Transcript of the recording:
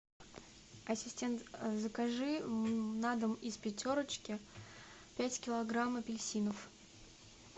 ассистент закажи на дом из пятерочки пять килограмм апельсинов